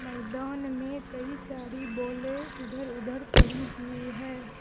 मैदान में कई सारी बोलें इधर उधर पड़ी हुई है।